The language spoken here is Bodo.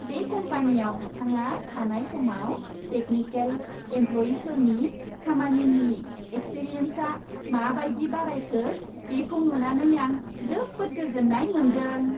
बे कम्पानियाव बिथाङा थानाय समाव टेकनिकेल एमप्ल'यिफोरनि खामानिनि एक्सपिरियेन्सआ माबायदि बारायखो, बेखौ नुनानै आं जोबोद गोजोन्नाय मोनदों।